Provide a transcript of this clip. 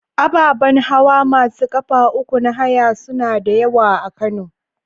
Ababan hawa masu ƙafa uku na haya suna da yawa a Kano.